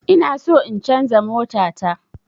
Inaso in canza mota ta